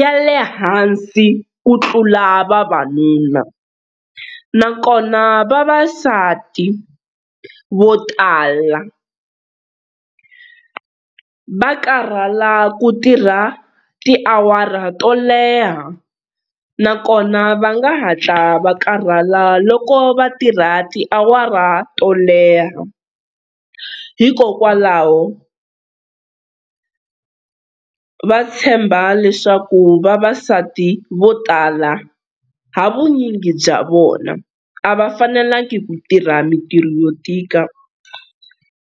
ya le hansi ku tlula vavanuna. Nakona vavasati vo tala va karhala ku tirha tiawara to leha, nakona va nga hatla va karhala loko va tirha tiawara to leha. Hikokwalaho va tshemba leswaku vavasati vo tala ha vunyingi bya vona a va fanelangi ku tirha mintirho yo tika.